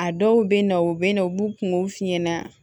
A dɔw bɛ na u bɛ na u b'u kungo f'i ɲɛna